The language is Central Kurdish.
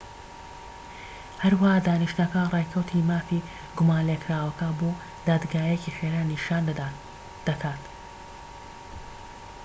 هەروەها دانیشتنەکە ڕێکەوتی مافی گومانلێکراوەکە بۆ دادگاییەکی خێرا نیشان دەکات